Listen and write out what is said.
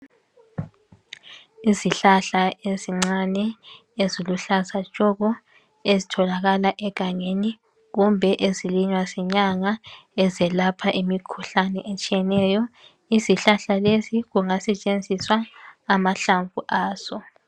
Izihlahla ezincane eziluhlaza tshoko ezitholakala egangeni kumbe ezilinywa zinyanga ezelapha imikhuhlane etshiyeneyo izihlahla lezi kungasetshenziswa amahlamvu azo.